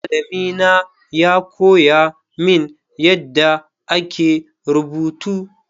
Malami na ya koya mini yadda ake rubutu.